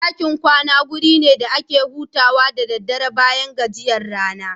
Ɗakin kwana waje ne da ake hutawa da daddare bayan gajiyan rana.